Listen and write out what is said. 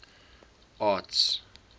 arts